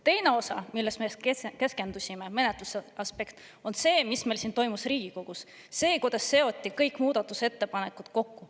Teine osa, millele me keskendusime, menetluse aspekt, on see, mis meil toimus Riigikogus, see, kuidas seoti kõik muudatusettepanekud kokku.